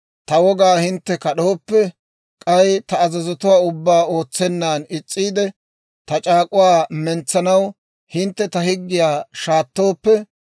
ta wogaa hintte kad'ooppe, k'ay ta azazotuwaa ubbaa ootsennan is's'iide ta c'aak'uwaa mentsanaw hintte ta higgiyaa shaattooppe,